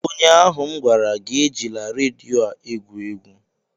ụnyaahụ m gwara gị, ejila redio a egwu egwu!